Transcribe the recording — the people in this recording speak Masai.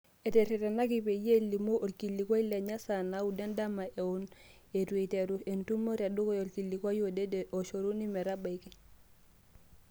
Eteretenaki peyie elimu olkilikuai lenye saa naaudo edama eon eitu eiteru entumo tedukuya olkilikua odede oshoruni metabaiki.